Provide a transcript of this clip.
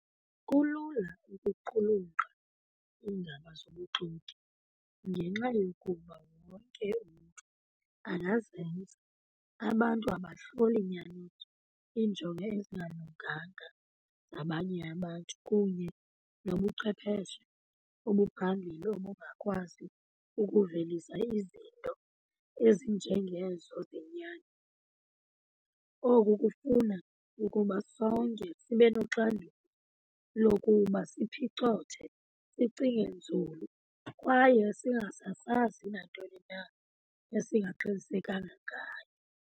Kulula ukuqulunga iindaba zobuxoki ngenxa yokuba wonke umntu angazenza. Abantu abahloli nyaniso, iinjongo ezingalunganga zabanye abantu kunye nobuchwepheshe obuphambili obungakwazi ukuvelisa izinto ezinjengezo zenyani. Oku kufuna ukuba sonke sibe noxanduva lokuba ziphicothe, sicinge nzulu kwaye singasasazi nantoni na esingaqinisekanga ngayo.